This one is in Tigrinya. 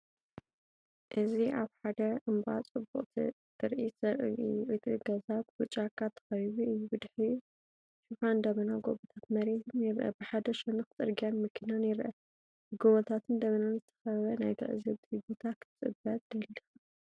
እዚ ኣብ ሓደ እምባ ጽቡቕ ትርኢት ዘርኢ እዩ። እቲ ገዛ ብጫካ ተኸቢቡ እዩ፣ ድሕሪኡ ሽፋን ደበናን ጎቦታትን መሬትን ይርአ። ብሓደ ሸነኽ ጽርግያን መኪናን ይርአ። ብጎቦታትንን ደበናን ዝተኸበበ ናይ ትዕዝብቲ ቦታ ክትበጽሕ ትደሊ ዲኻ?